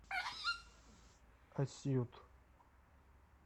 асьют